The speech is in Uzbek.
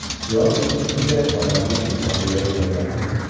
Yoki shunday odamga imkon berilmagan.